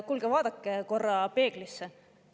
Kuulge, vaadake korra peeglisse!